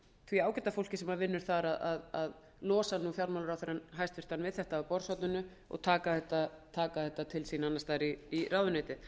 því ágæta fólki sem vinnur þar til að losa hæstvirtur fjármálaráðherrann við þetta af borðshorninu og taka þetta til sín annars staðar í ráðuneytið